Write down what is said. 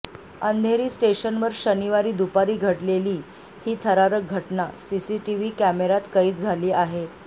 अंधेरी स्टेशनवर शनिवारी दुपारी घडलेली ही थरारक घटना सीसीटीव्ही कॅमेऱ्यात कैद झाली आहे